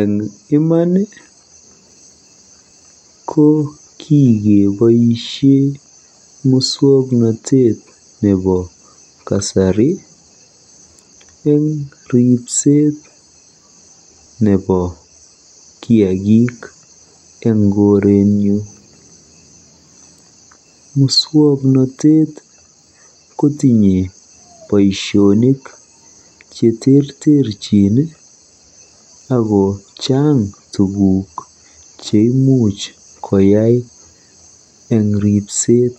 Eng iman ko kikeboisie muswoknotet nebo kasari eng ripset nepo kiagik eng koretnyu. Muswoknotet kotinye boisionik cheterterchin ako chaang tuguk cheimuch koyai eng ripset.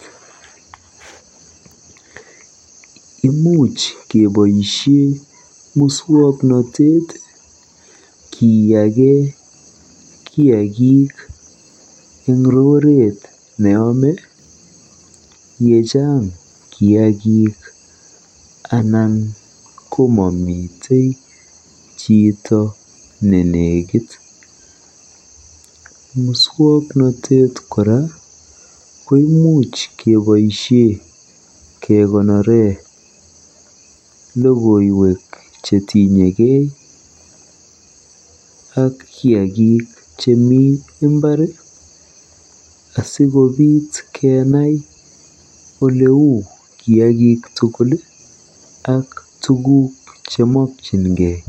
Imuch keboisie muswoknatet kiyake kiagik eng roret neyome yechaang kiagik anan kokamite chito neiyoki. Muswoknatet kora koimuch keboisie kekonore logoiwek chetinyegei ak kiagik chemi mbar asikobiit kenai oleu kiagik ak tuguuk chemakyingei.